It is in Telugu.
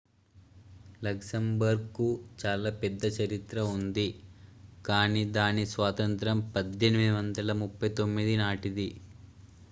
luxembourgకు చాలా పెద్ద చరిత్ర ఉంది కానీ దాని స్వాతంత్య్రం 1839 నాటిది